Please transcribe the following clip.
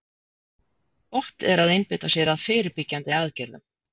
Gott er að einbeita sér að fyrirbyggjandi aðgerðum.